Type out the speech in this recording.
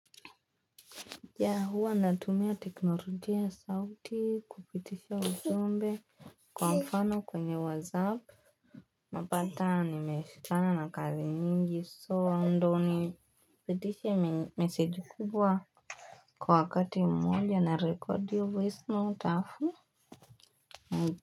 Ya huwa natumia technologia ya sauti kupitisha ujumbe. Kwa mfano kwenye whatsapp napata nimeshikana na kazi nyingi so ndo ni. Pitishe meseji kubwa kwa wakati mmoja narekodi voice note alaf.